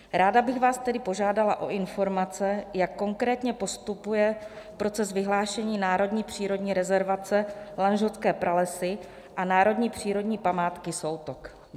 Ráda bych vás tedy požádala o informace, jak konkrétně postupuje proces vyhlášení národní přírodní rezervace Lanžhotské pralesy a národní přírodní památky Soutok.